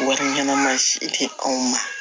Wari ɲɛnama si tɛ anw ma